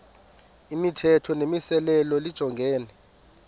imithetho nemimiselo lijongene